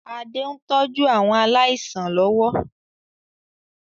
Adé ń tọ́jú àwọn aláìsàn lọ́wọ́